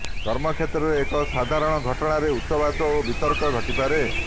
କର୍ମକ୍ଷେତ୍ରରେ ଏକ ସାଧାରଣ ଘଟଣାରେ ଉଚ୍ଚବାଚ ଓ ବିତର୍କ ଘଟିପାରେ